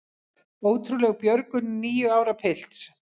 Ótrúleg björgun níu ára pilts